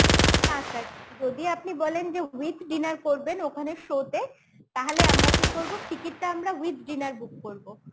না sir, যদি আপনি বলেন যে with dinner করবেন ওখানে show তে তাহলে আমরা কি করবো ticket টা আমরা with dinner book করবো